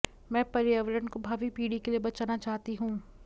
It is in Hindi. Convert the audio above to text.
मैं पर्यावरण को भावी पीढ़ि के लिए बचाना चाहती हूं